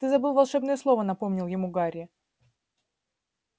ты забыл волшебное слово напомнил ему гарри